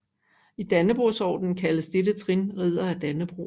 I Dannebrogordenen kaldes dette trin Ridder af Dannebrog